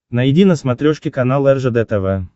найди на смотрешке канал ржд тв